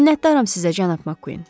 Minnətdaram sizə, cənab Makkuin.